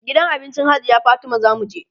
gidan abincin hajiya Fatima zamu je